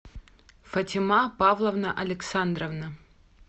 фатима павловна александровна